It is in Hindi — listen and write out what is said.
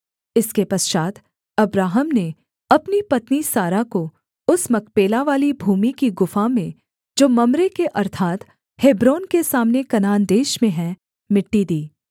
इसके पश्चात् अब्राहम ने अपनी पत्नी सारा को उस मकपेलावाली भूमि की गुफा में जो मम्रे के अर्थात् हेब्रोन के सामने कनान देश में है मिट्टी दी